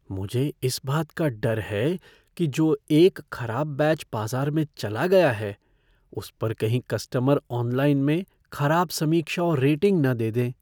मुझे इस बात का डर है कि जो एक खराब बैच बाजार में चला गया है उस पर कहीं कस्टमर ऑनलाइन में खराब समीक्षा और रेटिंग न दे दें।